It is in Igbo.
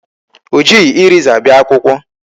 O jighị eraser bịa akwụkwọ.